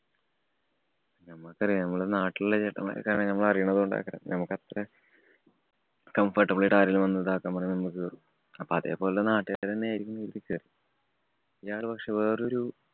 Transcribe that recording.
നമ്മക്കറിയാം നമ്മളെ നാട്ടിലുള്ള ചേട്ടന്മാരൊക്കെ നമ്മളെ അറിയുന്നത് കൊണ്ട് ഒക്കെ നമുക്കത്ര comfortable ആയിട്ട് ആരെങ്കിലും ഇതാക്കാന്‍ പറഞ്ഞാ മ്മളു കേറും. അപ്പൊ അതേപോലുള്ള നാട്ടുകാരന്നായിരിക്കും കരുതി കേറി. ഇയാള് പക്ഷേ വേറൊരു